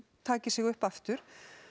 taki sig upp aftur